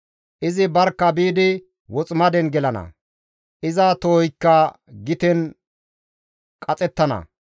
Izi barkka biidi woximaden gelana; iza tohoykka giten qaxettana.